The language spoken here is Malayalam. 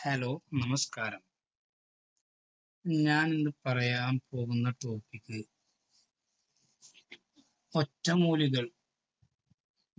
Hello നമസ്കാരം ഞാൻ ഇന്ന് പറയാൻ പോകുന്ന topic ഒറ്റമൂലികൾ